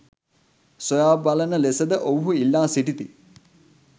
සොයා බලන ලෙස ද ඔවුහු ඉල්ලා සිටිති